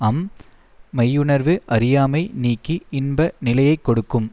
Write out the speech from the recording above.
அம் மெய்யுணர்வு அறியாமை நீக்கி இன்ப நிலையை கொடுக்கும்